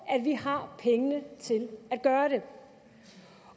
at vi har pengene til at gøre det